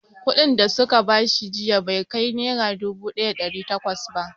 Kuɗin da su ka bashi jiya bai kai nera dubu ɗaya da ɗari takwas ba